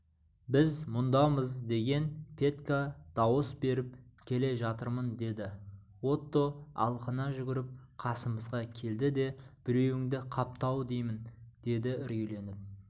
біз мұндамыз деген петька дауыс беріп келе жатырмын деді отто алқына жүгіріп қасымызға келді де біреуіңді қапты-ау деймін деді үрейленіп